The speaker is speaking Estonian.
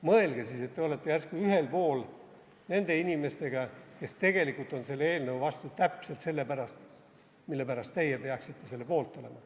Mõelge siis, et te olete siis järsku ühel pool nende inimestega, kes tegelikult on selle eelnõu vastu täpselt selle pärast, mille pärast teie peaksite selle poolt olema.